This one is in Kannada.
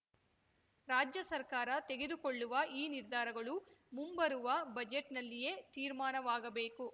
ರಾಜ್ಯಸರ್ಕಾರ ತೆಗೆದುಕೊಳ್ಳುವ ಈ ನಿರ್ಧಾರಗಳು ಮುಂಬರುವ ಬಜೆಟ್‌ನಲ್ಲಿಯೇ ತೀರ್ಮಾನವಾಗಬೇಕು